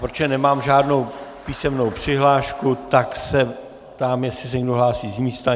Protože nemám žádnou písemnou přihlášku, tak se ptám, jestli se někdo hlásí z místa.